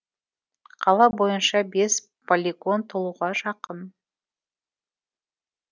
қала бойынша бес полигон толуға жақын